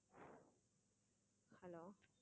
hello